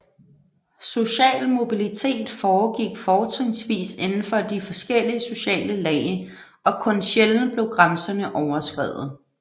Social mobilitet foregik fortrinsvis indenfor de forskellige sociale lag og kun sjældent blev grænserne overskredet